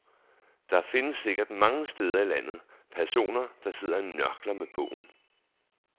Der findes sikkert, mange steder i landet, personer, der sidder og nørkler med bogen.